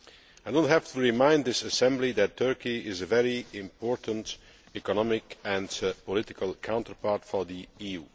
I do not have to remind this Assembly that Turkey is a very important economic and political counterpart for the EU.